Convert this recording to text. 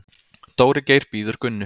Dóri Geir bíður Gunnu.